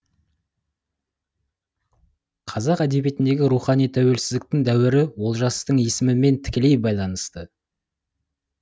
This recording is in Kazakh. қазақ әдебиетіндегі рухани тәуелсізділіктің дәуірі олжастың есімімен тікелей байланысты